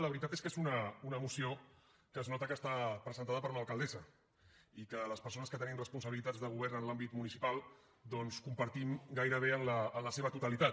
la veritat és que és una moció que es nota que està presentada per una alcaldessa i que les persones que tenim responsabilitats de govern en l’àmbit municipal doncs compartim gairebé en la seva totalitat